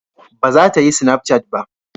Ba za ta yi sinafcat ba